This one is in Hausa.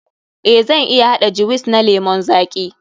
Eh, zan iya haɗa jiwis na lemun zaƙi.